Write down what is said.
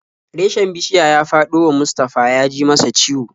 Reshen bishiya ya faɗo wa Mustafa ya ji masa ciwo.